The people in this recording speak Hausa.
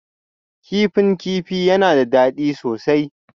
Kifin kifi yana da daɗi sosai